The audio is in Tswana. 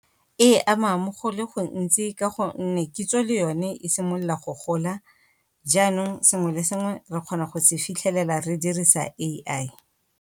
E ama mo go le gontsi ka gonne kitso le yone e simolola go gola, jaanong sengwe le sengwe re kgona go se fitlhelela re dirisa A_I.